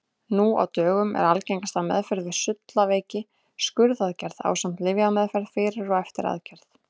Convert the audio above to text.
Nú á dögum er algengasta meðferð við sullaveiki skurðaðgerð ásamt lyfjameðferð fyrir og eftir aðgerð.